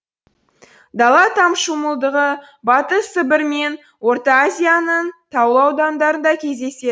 дала таушымылдығы батыс сібір мен орта азияның таулы аудандарында кездеседі